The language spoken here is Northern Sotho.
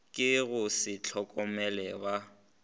ke go se hlokomele ba